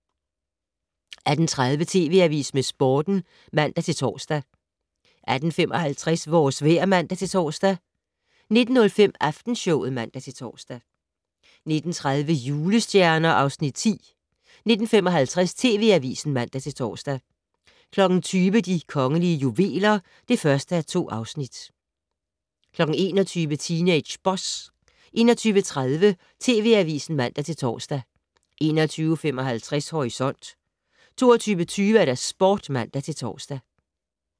18:30: TV Avisen med Sporten (man-tor) 18:55: Vores vejr (man-tor) 19:05: Aftenshowet (man-tor) 19:30: Julestjerner (Afs. 10) 19:55: TV Avisen (man-tor) 20:00: De kongelige juveler (1:2) 21:00: Teenage Boss 21:30: TV Avisen (man-tor) 21:55: Horisont 22:20: Sporten (man-tor)